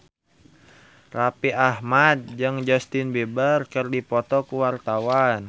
Raffi Ahmad jeung Justin Beiber keur dipoto ku wartawan